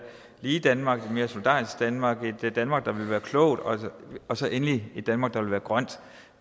lige danmark et mere solidarisk danmark et danmark der vil være klogt og så endelig et danmark der vil være grønt